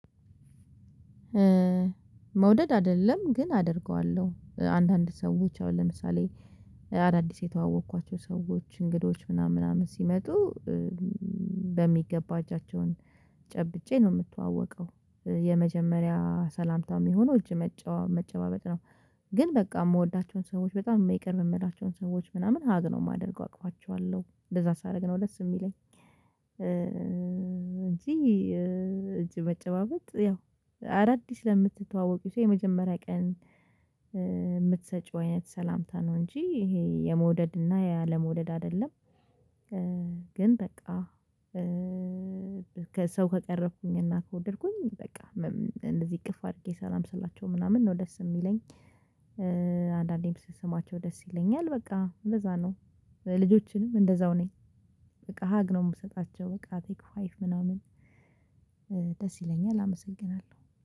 መውደድ አይደለም ግን አደርገዋለሁ አንዳንድ ሰዎች አሁን ለምሳሌ አዳዲስ የተዋወቅኳቸው ሰዎች እንግዶች ምናምን ምናምን ሲመጡ በሚገባ እጃቸውን ጨብጬ ነው የምትዋወቀው የመጀመሪያ ሰላምታ የሚሆነው እጅ መጨባበጥ ነው። ግን በቃ የምወዳቸውን ሰዎች በጣም የሚቀርብ የምላቸውን ሰዎች ምናምን ሀግ ነው የማደርገው አቅፋቸዋለሁ እንደዛ ሳደርግ ነው ለስ የሚለኝ እንጂ እጅ መጨባበጥ ያው አዳዲስ ለምትተዋወቂው ሰው የመጀመሪያ ቀን የምትሰጪው አይነት ሰላምታ ነው እንጂ ይሄ የመውደድ እና ያለመውደድ አይደለም ግን በቃ ሰው ከቀረብኩኝ እና ከወደድኩኝ በቃ እንደዚህ እቅፍ አድርጌ ሰላም ስላቸው ምናምን ነው ደስ የሚለኝ አንዳንዴም ስሰማቸው ደስ ይለኛል በቃ ለዛ ነው ልጆችንም እንደዛው ነኝ በቃ ሀግ ነው የምሰጣቸው በቃ አቅፌ ምናምን ደስ ይለኛል አመሰግናለሁ።